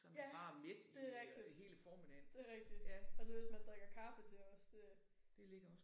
Ja det rigtigt det rigtigt. Og så hvis man drikker kaffe til også det